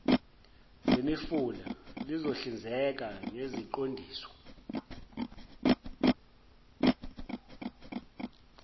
zemifula lizohlinzeka ngeziqondiso